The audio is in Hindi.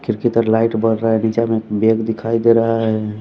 खिड़की तर लाइट बर रहा है बीचा में एक बेग दिखाई दे रहा है।